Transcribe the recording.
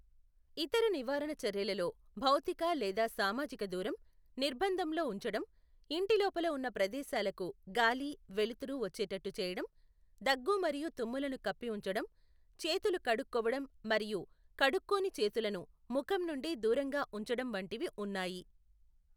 ఇతర నివారణ చర్యలలో భౌతిక లేదా సామాజిక దూరం, నిర్బంధంలో ఉంచడం, ఇంటి లోపల ఉన్న ప్రదేశాలకు గాలి, వెలుతురు వచ్చేటట్టు చేయడం, దగ్గు మరియు తుమ్ములను కప్పి ఉంచడం, చేతులు కడుక్కోవడం మరియు కడుక్కోని చేతులను ముఖం నుండి దూరంగా ఉంచడం వంటివి ఉన్నాయి.